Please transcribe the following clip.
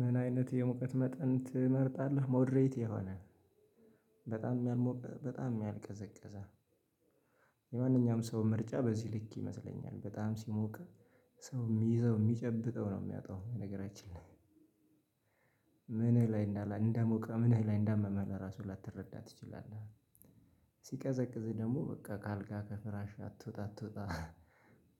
ምን አይነት የሙቀት መጠን ትመርጣለህ? ሞድሬት የሆነ በጣምም ያልሞቀ በጣምም ያልቀዘቀዘ የማንኛውም ሰው ምርጫ በዚህ ልክ ይመስለኛል በጣም ሲሞቅ ሰው የሚይዘው የሚጨብጠው ነው የሚያጣው በነገራችን ላይ። ምን ላይ እንዳለ እንደሞቀ ምንህ ላይ እንዳመመህ ለራሱ ላተረዳ ትችላለህ። ሲቀዘቅዝህ ደግሞ በቃ ከአልጋ ከፍራሽ አትወጣ አትውጣ